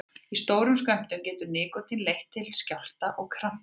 Í stórum skömmtum getur nikótín leitt til skjálfta og krampa.